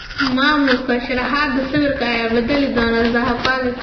(Maamulka) Sharaxaada sawirka, Yaa bedeli doona Zaha Palace?